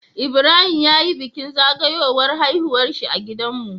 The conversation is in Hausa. Ibrahim yayi bikin zagawowar haihuwarshi a gidan mu